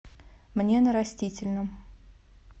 мне на растительном